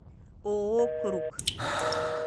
ооо круг